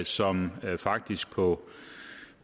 som faktisk på